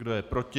Kdo je proti?